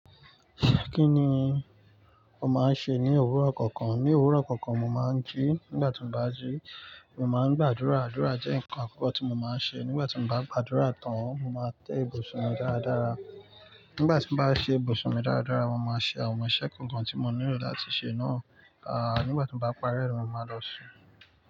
Kí ni mo máa ń ṣe ní òwúrọ̀ kọ̀ọ̀kan? Ní òwúrọ̀ kọ̀ọ̀kan, mo máa ń jí. Nígbà tí mo bá jí, mo máa ń gbàdúrà. Àdúrà jẹ́ nǹkan àkọ́kọ́ tí mo máa ń ṣe. Nígbà tí mo bá gbàdúrà tán, mo máa tẹ́ ibùsùn mi dáradára. Nígbà tí mo bá ṣe ibùsùn mi dáradára, mo máa ṣe àwọn iṣẹ́ kọ̀ọ̀kan tí mo nílò láti ṣe náà. Aà, nígbà tí mo bá pari e, mo máa lọ sùn.